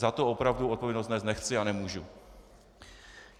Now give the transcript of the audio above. Za to opravdu odpovědnost nést nechci a nemůžu.